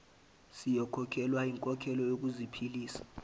siyokhokhelwa inkokhelo yokuziphilisa